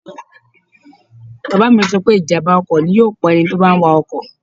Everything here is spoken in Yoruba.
Bàbá mi sọ pé ìjàm̀bá ọkọ̀ ni yóò pa ẹni tí ó bá ń wa ọkọ̀